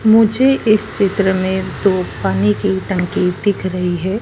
मुझे इस चित्र में दो पानी की टंकी दिख रही हैं।